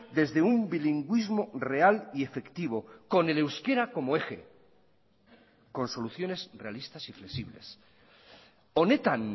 desde un bilingüismo real y efectivo con el euskera como eje con soluciones realistas y flexibles honetan